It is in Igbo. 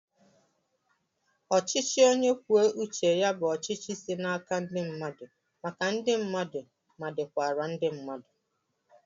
Ọchichi onye kwùó uché ya bụ ọchịchị si n'àkà ndi mmadu, maka ndi mmadu, ma dikwara ndi mmadu